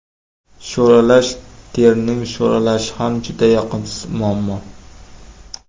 Sho‘ralash Terining sho‘ralashi ham juda yoqimsiz muammo.